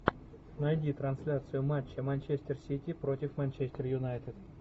найди трансляцию матча манчестер сити против манчестер юнайтед